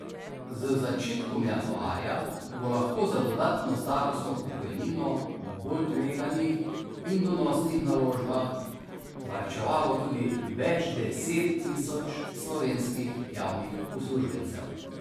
Z začetkom januarja bo lahko za dodatno starostno pokojnino v bolj tveganih in donosnih naložbah varčevalo tudi več deset tisoč slovenskih javnih uslužbencev.